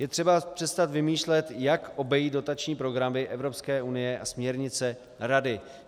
Je třeba přestat vymýšlet, jak obejít dotační programy Evropské unie a směrnice Rady.